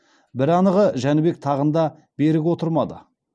бір анығы жәнібек тағында берік отырмады